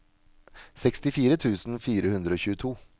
sekstifire tusen fire hundre og tjueto